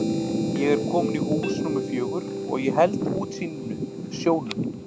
Ég er kominn í hús númer fjögur og ég held útsýninu, sjónum.